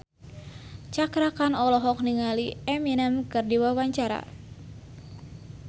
Cakra Khan olohok ningali Eminem keur diwawancara